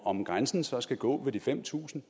om grænsen så skal gå ved de fem tusind